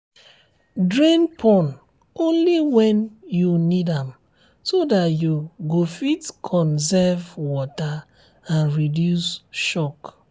drain pond only when you need am so that you go fit conserve water and reduce shock